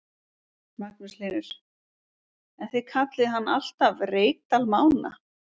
Magnús Hlynur: En þið kallið hann alltaf Reykdal Mána?